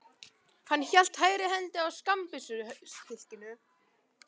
Hann hélt hægri hendi á skammbyssuhylkinu.